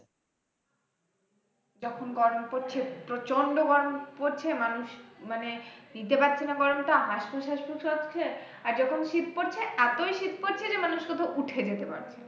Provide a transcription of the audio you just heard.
যখন গরম পড়ছে প্রচন্ড গরম পরছে মানুষ মানে নিতে পারছে না গরমটা আসপুসশ্বাসফুস লাগছে আর যখন শীত পড়ছে এতই শীত পড়ছে যে মানুষ উঠে নিতে পারছে। না।